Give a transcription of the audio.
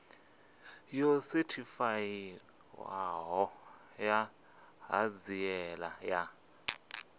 yo sethifaiwaho ya ṱhanziela ya